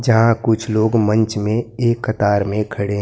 जहां कुछ लोग मंच में एक कतार में खड़े--